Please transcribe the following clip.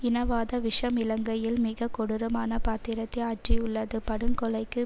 இனவாத விஷம் இலங்கையில் மிகக்கொடூரமான பாத்திரத்தை ஆற்றியுள்ளது படுங்கொலைக்கு